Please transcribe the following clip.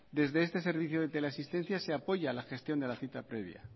desde este servicio de teleasistencia se apoya la gestión de la cita previa